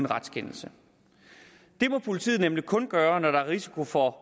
retskendelse det må politiet nemlig kun gøre når der er risiko for